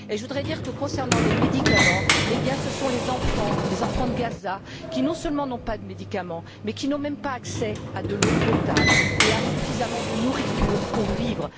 Je voudrais dire que, concernant les médicaments, ce sont les enfants de Gaza qui non seulement n'ont pas de médicaments, mais qui n'ont même pas accès à de l'eau potable et à suffisamment de nourriture pour vivre.